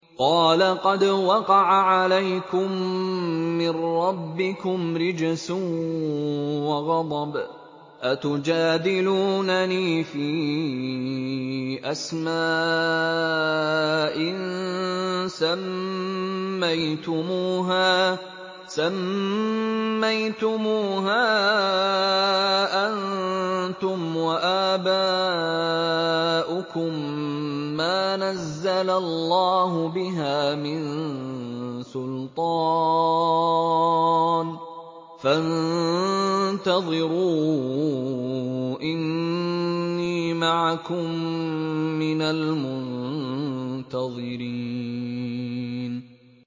قَالَ قَدْ وَقَعَ عَلَيْكُم مِّن رَّبِّكُمْ رِجْسٌ وَغَضَبٌ ۖ أَتُجَادِلُونَنِي فِي أَسْمَاءٍ سَمَّيْتُمُوهَا أَنتُمْ وَآبَاؤُكُم مَّا نَزَّلَ اللَّهُ بِهَا مِن سُلْطَانٍ ۚ فَانتَظِرُوا إِنِّي مَعَكُم مِّنَ الْمُنتَظِرِينَ